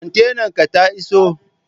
kontenan ka ta iso?